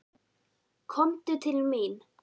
Komdu til mín.